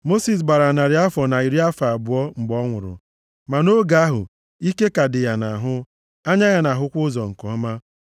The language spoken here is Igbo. Mosis gbara narị afọ na iri afọ abụọ mgbe ọ nwụrụ, ma nʼoge ahụ ike ka dị ya nʼahụ, anya ya na-ahụkwa ụzọ nke ọma.